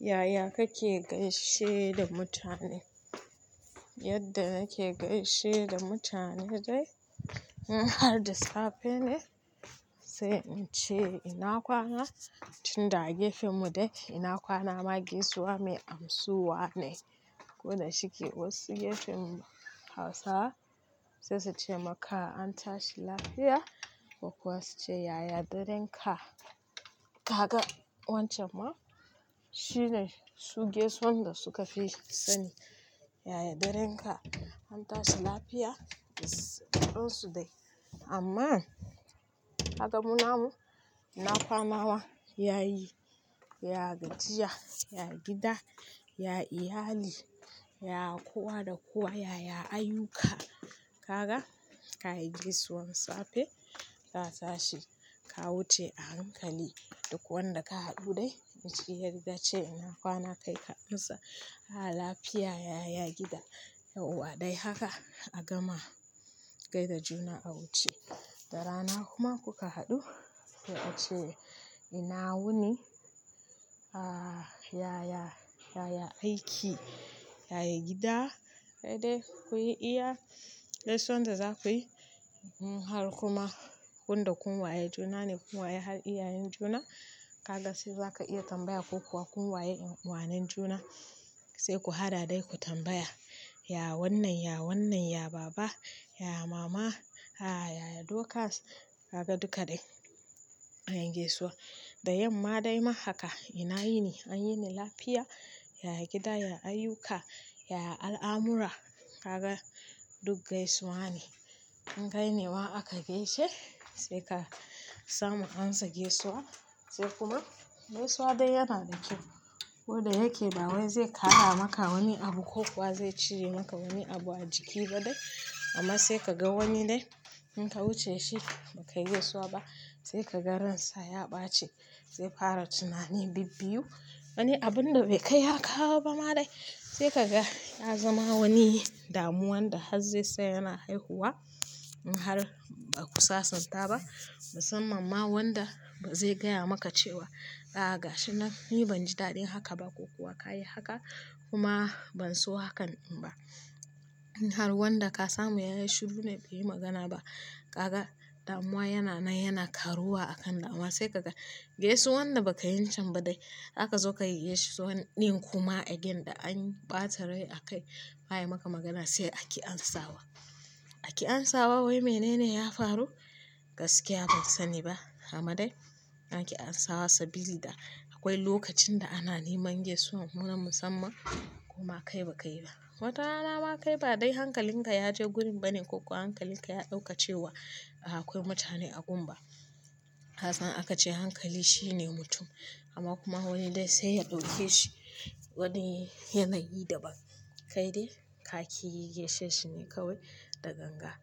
Yaya kake gaishe da mutane? Yadda nake gaishe da mutane dai in har da safe ne sai in ce ina kwana tunda gefenmu dai ina kwana ma gaisuwa mai amsuwa ne. Koda shike wasu gefen Hausa sai su ce maka an tashi lafiya ko kuwa su ce yaya daren ka. Kaga wancan ma shine su gaisawan da suka fi sani. Yaya daren ka an tashi lafiya, ƙan su dai. Amma, kaga munamu ina kwana ma yayi, ya gajiya, ya gida, ya iyali, ya kuwa da kuwa yaya ayuka. Kaga ka yi gaisuwan safe ka tashi ka wuce a hankali duk wanda ka haɗu dai shi ya riga ce ina kwana kai ka amsa a'a lafiya yaya gida, yauwa dai haka a gama gaida juna a wuce. Da rana kuma kuka haɗu sai ace ina wuni, a yaya, yaya aiki, yaya gida, sai dai kuyi iya gaisuwan da za kuyi. In har kuma wanda kun waye juna ne kun waye har iyayen juna. Kaga sai za ka iya tambaya ko kuwa kun waye uwanen juna sai ku haɗa dai ku tambaya. Ya wannan, ya wannan, ya baba, ya mama, a yaya dokas kaga duka dai an yi gaisuwa. Da yamma dai ma haka ina yini? An yi ni lafiya, yaya gida, ya ayuka, yaya al'amura. Kaga duk gaisuwa ne. In kai ne ma aka gaishe sai ka samu an sa gaisuwa sai kuma gaisuwa dai yana da kyau. Ko da yake da wai zai ƙara maka wani abu ko kuwa zai cire maka wani abu a jiki ba dai amma sai ka ga wani dai in ka wuce shi ba ka gaisuwa ba sai ka ga ransa ya ɓace sai fara tunani bibbiyu. Wani abun da bai kai ya kawo ba ma dai sai ka ga ya zama wani damuwan da har zai sai yana haihuwa. In har ba ku sasanta ba musamman ma wanda ba zai gaya maka cewa a'a gashi nan ni ban ji daɗin haka ba ko kuwa ka yi haka kuma ban so hakan ba. In har wanda ka samu ya yi shiru dai bai yi magana ba. Kaga damuwa yana na yana karuwa a kanda amma sai ka ga gaisuwan da ba ka yin can ba dai haka zo ka yi gaisuwan ɗin kuma a gunda an ɓata rai a kai ba a yi maka magana sai a ki an sawa. A ki an sawa wai mene ne ya faru? Gaskiya ban sani ba. Amma dai a ki an sawa sabili da akwai lokacin da ana neman gaisuwa muna musamman kuma kai ba kai ba. Wata rana ma kai ba dai hankalinka ya je gurin bane ko kuwa hankalinka ya ɗauka cewa a akwai mutane a gun ba. Kasan aka ce hankali shine mutum amma kuma wani dai sai ya ɗauke shi wani yanayi daban. Kai dai ka ki yi gaishe shi ne kawai da ganga.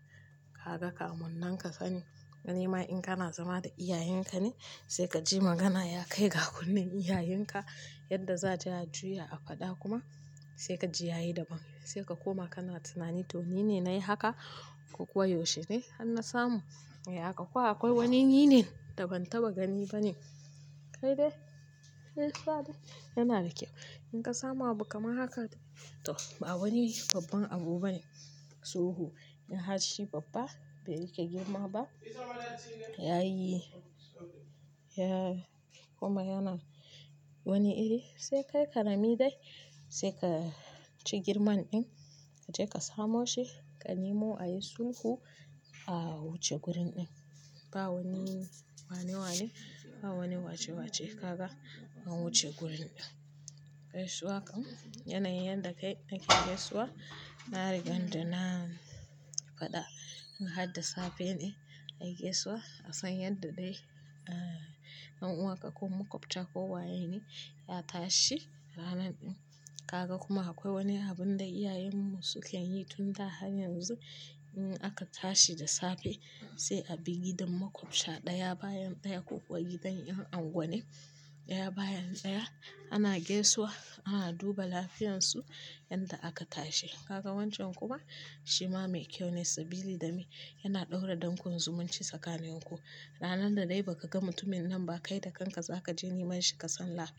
Kaga kamun nan ka sani. Wani ma in ka na zama da iyayenka ne sai ka ji magana ya kai ga kunnen iyayenka yadda za ta juya a faɗa kuma sai ka ji yayi daban. Sai ka koma kana tunani to ni ne na yi haka ko kuwa yaushe ne har na samu. E a haka kuwa akwai wani ni ne da ban taɓa gani ba ne. Kai dai gaisuwa dai yana da kyau. In ka samu abu kamar haka dai to ba wani babban abu ba ne. Tsoho in har shi babba bai rike girma ba yayi, ya kuma yana wani iri sai kai ka rami dai sai ka ci girman ɗin ka je ka samo shi ka nemo a yi sulhu a wuce gurin ɗin. Ba wani wane wa ne ba wani wace wace. Kaga an wuce gurin ɗin. Gaisuwa kam yanayin yadda kai ake gaisuwa. Na riga na faɗa in har da safe ne a yi gaisuwa a san yadda dai ɗan uwanka ko makwabta ko wayeni ya tashi ranan ɗin. Kaga kuma akwai wani abun da iyayenmu suke yi tun da har yanzu in aka tashi da safe sai a bi gidan makwabta ɗaya bayan ɗaya ko kuwa gidan in unguwa ne ɗaya bayan ɗaya ana gaisuwa ana duba lafiyansu yanda aka tashi. Kaga wancan kuma shi ma mai kyau ne sabili da me yana ɗaura don kun zumunci tsakanin ku. Ranar da dai ba ka ga mutumin nan ba kai da kanka za ka je neman shi ka san lafiya.